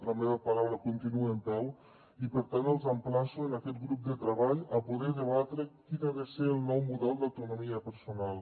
la meva paraula continua en peu i per tant els emplaço en aquest grup de treball a poder debatre quin ha de ser el nou model d’autonomia personal